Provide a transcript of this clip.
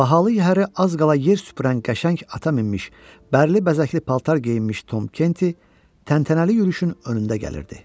Bahalı yəhəri az qala yer süpürən qəşəng ata minmiş, bərli bəzəkli paltar geyinmiş Tom Kenti təntənəli yürüşün önündə gəlirdi.